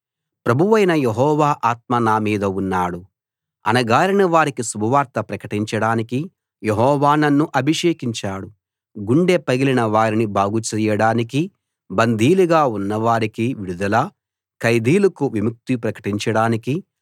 ప్రభువైన యెహోవా ఆత్మ నా మీద ఉన్నాడు అణగారిన వారికి శుభవార్త ప్రకటించడానికి యెహోవా నన్ను అభిషేకించాడు గుండె పగిలిన వారిని బాగుచేయడానికి బందీలుగా ఉన్నవారికి విడుదల ఖైదీలకు విముక్తి ప్రకటించడానికి